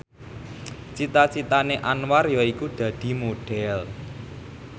cita citane Anwar yaiku dadi Modhel